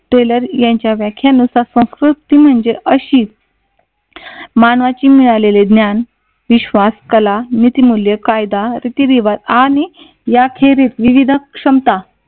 teller यांच्या व्याख्यानुसार संस्कृती म्हणजे अशी मानवाचे मिळालेले ज्ञान विश्वास कला नीती मूल्य कायदा रीती रिवाज आणि याखेरीज विविध क्षमता